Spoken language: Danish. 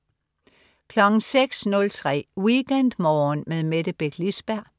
06.03 WeekendMorgen med Mette Beck Lisberg